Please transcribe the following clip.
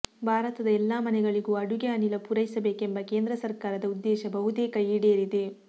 ಭಾರತದ ಎಲ್ಲಾ ಮನೆಗಳಿಗೂ ಅಡುಗೆ ಅನಿಲ ಪೂರೈಸಬೇಕೆಂಬ ಕೇಂದ್ರ ಸರ್ಕಾರದ ಉದ್ದೇಶ ಬಹುತೇಕ ಈಡೇರಿದೆ